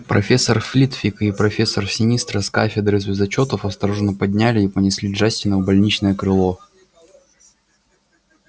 профессор флитвик и профессор синистра с кафедры звездочётов осторожно подняли и понесли джастина в больничное крыло